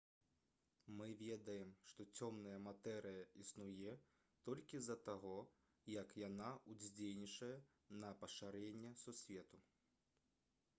мы ведаем што цёмная матэрыя існуе толькі з-за таго як яна ўздзейнічае на пашырэнне сусвету